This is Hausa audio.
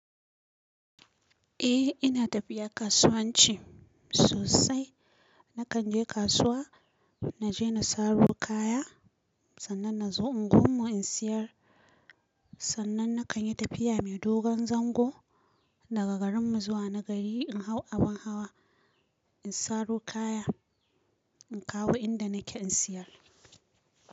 Eh ina tafiya kasuwanci sosai. Nakan je kasuwa, na je na saro kaya sannan na zo unguwar mu in siyar. Sannan na kan yi tafiya mai dogon zango daga garin mu zuwa na gari in hau abin hawa, in saro kaya in kawo inda nake in siyar.